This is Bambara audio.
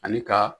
Ani ka